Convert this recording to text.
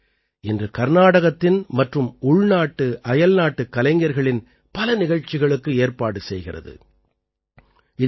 இந்த அமைப்பு இன்று கர்நாடகத்தின் மற்றும் உள்நாட்டுஅயல்நாட்டுக் கலைஞர்களின் பல நிகழ்ச்சிகளுக்கு ஏற்பாடு செய்கிறது